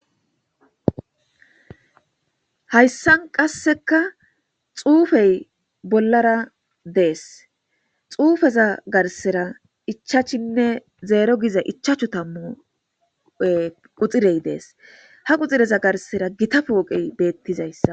hayssan qasseka xuufey bollara dees xuufeza garsera ichachinne zeero giza ichachu tammu quxirey dees ha quxireza garsera gita pooqey beettizayssa